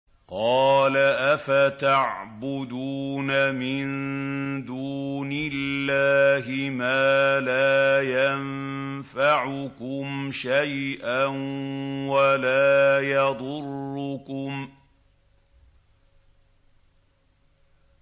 قَالَ أَفَتَعْبُدُونَ مِن دُونِ اللَّهِ مَا لَا يَنفَعُكُمْ شَيْئًا وَلَا يَضُرُّكُمْ